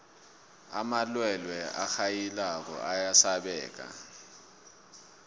amalwelwe arhayilako ayasabeka